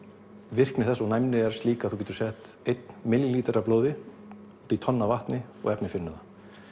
virkni þess og næmni er slík að þú getur sett einn millilítra af blóði út í tonn af vatni og efnið finnur það